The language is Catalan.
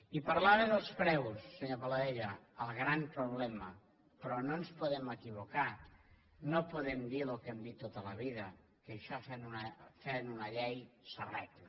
i parlava dels preus senyor paladella el gran problema però no ens podem equivocar no podem dir el que hem dit tota la vida que això fent una llei s’arregla